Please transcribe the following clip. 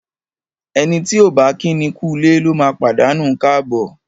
Ẹni tí ọ̀ bá kíni kúulé lóma pàdánù káàbọ̀.